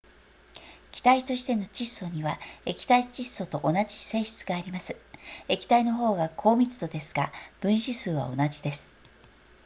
気体としての窒素には液体窒素と同じ性質があります液体の方が高密度ですが分子数は同じです